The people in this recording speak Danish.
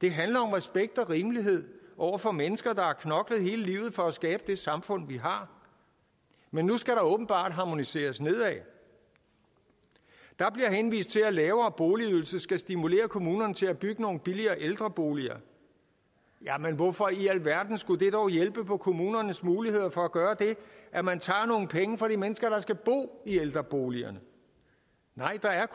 det handler om respekt og rimelighed over for mennesker der har knoklet hele livet for at skabe det samfund vi har men nu skal der åbenbart harmoniseres nedad der bliver henvist til at lavere boligydelse skal stimulere kommunerne til at bygge nogle billigere ældreboliger hvorfor i alverden skulle det dog hjælpe på kommunernes muligheder for at gøre det at man tager nogle penge fra de mennesker der skal bo i ældreboligerne nej der er